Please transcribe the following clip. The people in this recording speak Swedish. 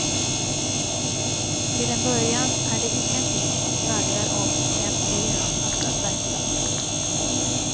Till en början är det ingenting som skvallrar om en miljöanpassad verksamhet.